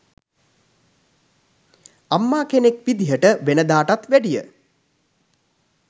අම්මා කෙනෙක් විදියට වෙනදාටත් වැඩිය